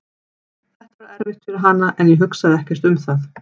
Þetta var erfitt fyrir hana en ég hugsaði ekkert um það.